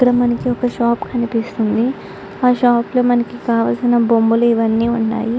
ఇక్కడ మనకి ఒక షాప్ కనిపిస్తుంది. ఆ షాప్ లో మనకి కావాల్సిన బొమ్మలు అయ్యి ఉన్నాయ్.